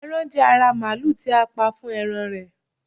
eran je ara maalu ti a pa fún eran rẹ